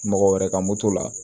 Mɔgɔ wɛrɛ ka moto la